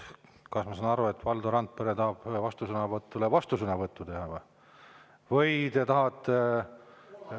Kas ma saan aru, et Valdo Randpere tahab vastusõnavõtule vastusõnavõttu teha, või te tahate …